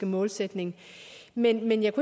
målsætning men mit